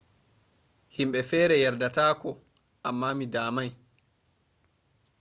himbe fere yardata ko amma mi damai